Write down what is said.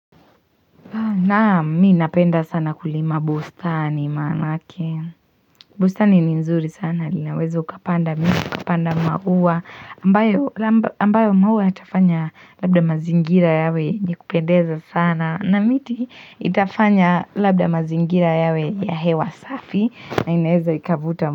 Naam mimi napenda sana kulima bustani manake bustani ni nzuri sana linawezo ukapanda miti ukapanda mauwa ambayo mauwa yatafanya labda mazingira yawe njikupendeza sana na miti itafanya labda mazingira yawe ya hewa safi na ineza ikavuta.